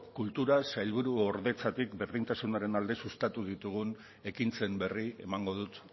kultura sailburuordetzatik berdintasunaren alde sustatu ditugun ekintzen berri emango dut